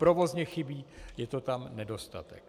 Provozně chybí, je to tam nedostatek.